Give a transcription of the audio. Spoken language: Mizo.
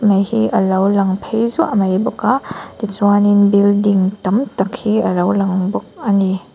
mai hi alo lang phei zuah mai bawk a tichuanin building tam tak hi alo lang bawk ani.